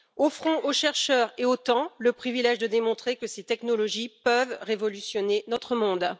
Offrons aux chercheurs et au temps le privilège de démontrer que ces technologies peuvent révolutionner notre monde.